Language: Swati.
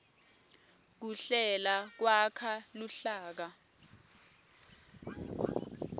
kuhlela kwakha luhlaka